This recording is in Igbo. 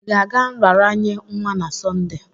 Ị ga-aga nraranye nwa na Sọnde?